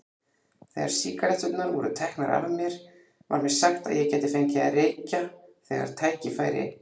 Þegar sígaretturnar voru teknar var mér sagt að ég gæti fengið að reykja þegar tækifæri